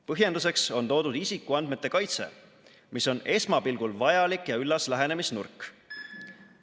Põhjenduseks on toodud isikuandmete kaitse, mis on esmapilgul vajalik ja üllas lähenemisnurk.